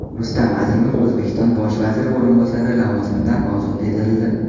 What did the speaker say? Rustam Azimov O‘zbekiston bosh vaziri o‘rinbosari lavozimidan ozod etildi.